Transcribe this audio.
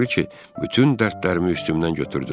Elə bil ki, bütün dərdlərimi üstümdən götürdülər.